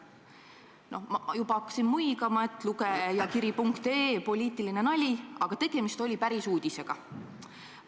Ma hakkasin juba muigama, et lugejakiri.ee poliitiline nali, aga tegemist oli päris uudisega.